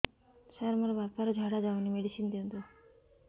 ସାର ମୋର ବାପା ର ଝାଡା ଯାଉନି ମେଡିସିନ ଦିଅନ୍ତୁ